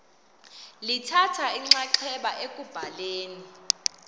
lithatha inxaxheba ekubhaleni